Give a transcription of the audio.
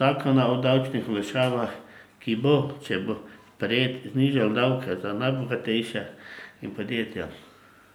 zakona o davčnih olajšavah, ki bo, če bo sprejet, znižal davke za najbogatejše in podjetja.